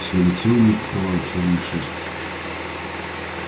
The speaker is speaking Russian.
всё лицо у неё покрывала чёрная шерсть